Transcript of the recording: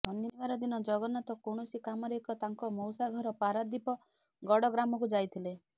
ଶନିବାର ଦିନ ଜଗନ୍ନାଥ କୌଣସି କାମରେ ଏକ ତାଙ୍କ ମଉସା ଘର ପାରାଦୀପ ଗଡ ଗ୍ରାମକୁ ଯାଇଥିଲେ